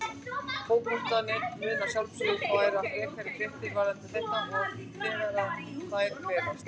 Fótbolti.net mun að sjálfsögðu færa frekari fréttir varðandi þetta þegar að þær berast.